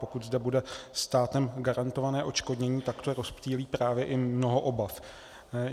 Pokud zde bude státem garantované odškodnění, tak to rozptýlí právě i mnoho obav.